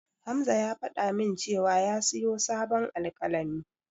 Hamza ya faɗa min cewa ya siyo sabon alƙalami.